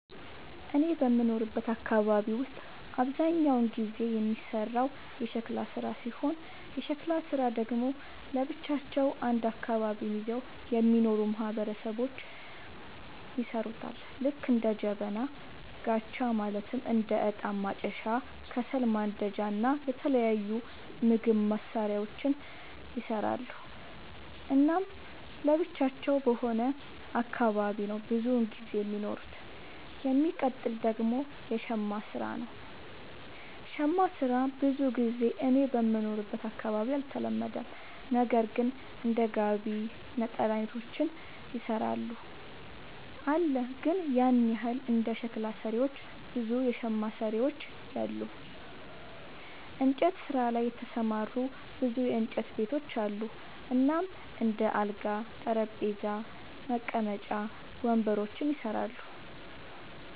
እኔ በምኖርበት አካባቢ ውስጥ አብዛኛውን ጊዜ የሚሰራው የሸክላ ስራ ሲሆን የሸክላ ስራ ደግሞ ለብቻቸው አንድ አካባቢን ይዘው የሚኖሩ ማህበረሰቦች ይሠሩታል ልክ እንደ ጀበና፣ ጋቻ ማለትም እንደ እጣን ማጨሻ፣ ከሰል ማንዳጃ እና የተለያዩ ምግብ መስሪያዎችን ይሰራሉ። እናም ለብቻቸው በሆነ አካባቢ ነው ብዙም ጊዜ የሚኖሩት። የሚቀጥል ደግሞ የሸማ ስራ ነው, ሸማ ስራ ብዙ ጊዜ እኔ በምኖርበት አካባቢ አልተለመደም ነገር ግን እንደ ጋቢ፣ ነጠላ አይነቶችን ይሰራሉ አለ ግን ያን ያህል እንደ ሸክላ ሰሪዎች ብዙ የሸማ ሰሪዎች የሉም። እንጨት ስራ ላይ የተሰማሩ ብዙ የእንጨት ቤቶች አሉ እናም እንደ አልጋ፣ ጠረጴዛ፣ መቀመጫ ወንበሮችን ይሰራሉ።